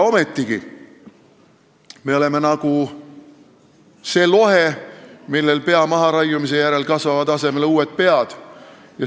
Ometigi me oleme nagu see lohe, kellele pea maharaiumisel kasvavad asemele uued pead.